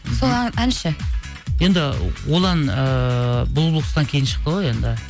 сол ән ше енді ол ән ыыы бұлбұл құстан кейін шықты ғой енді